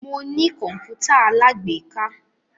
Mo ní kọ̀npútà alágbèéká.